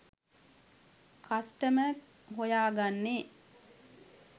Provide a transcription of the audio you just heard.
customer හොයා ගන්නේ